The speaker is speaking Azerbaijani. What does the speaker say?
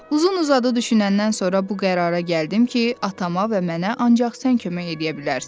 Uzun-uzadı düşünəndən sonra bu qərara gəldim ki, atama və mənə ancaq sən kömək eləyə bilərsən.